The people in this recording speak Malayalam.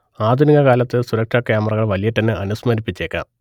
ആധുനികകാലത്തെ സുരക്ഷാ ക്യാമറകൾ വല്യേട്ടനെ അനുസ്മരിപ്പിച്ചേക്കാം